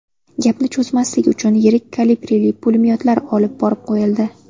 Gapni cho‘zmaslik uchun yirik kalibrli pulemyotlar olib borib qo‘yildi.